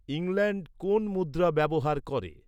England কোন মুদ্রা ব্যবহার করে